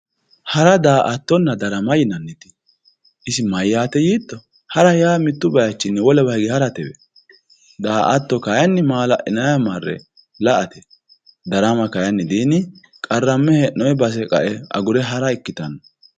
hara, daa''aattonna darama yaa isi mayyaate yiitto? hara yaa mittu bayiichinni wolewa hige haratewe, daa''atto kayiinni maa''la'linanniwa marre la''ate darama kayiini di qarramme hee'noonni basenni agurre kae hara ikkitanno.